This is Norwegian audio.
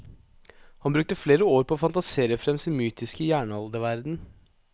Han brukte flere år på å fantasere frem sin mytiske jernalderverden.